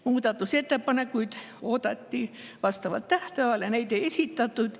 Muudatusettepanekuid oodati vastavalt tähtajale, kuid neid ei esitatud.